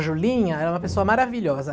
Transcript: A Julinha é uma pessoa maravilhosa.